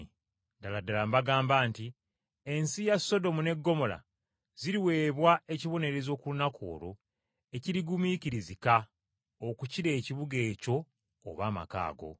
Ddala ddala mbagamba nti ensi ya Sodomu ne Ggomola ziriweebwa ekibonerezo ku lunaku olw’okusalirako omusango ekirigumiikirizika okukira ekibuga ekyo oba amaka ago.